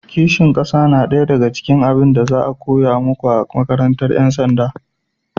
ƙishin ƙasa na daya daga cikin abun da za a koya muku a makarantar 'yan sanda